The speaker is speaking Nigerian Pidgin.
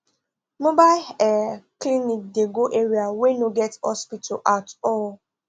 mobile ah clinic dey go area wey no get hospital at all